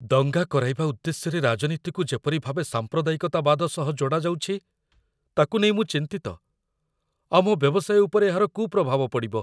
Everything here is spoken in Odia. ଦଙ୍ଗା କରାଇବା ଉଦ୍ଦେଶ୍ୟରେ ରାଜନୀତିକୁ ଯେପରି ଭାବେ ସାମ୍ପ୍ରଦାୟିକତାବାଦ ସହ ଯୋଡ଼ାଯାଉଛି, ତାକୁ ନେଇ ମୁଁ ଚିନ୍ତିତ, ଆମ ବ୍ୟବସାୟ ଉପରେ ଏହାର କୁପ୍ରଭାବ ପଡ଼ିବ।